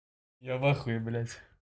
я в ахуе блять